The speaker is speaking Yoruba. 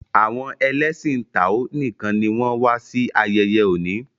awon ẹlẹṣin tao nìkàn ní wón wá sí ayeye òní.